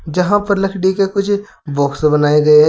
जहां पर लकड़ी के कुछ बॉक्स बनाए गए हैं।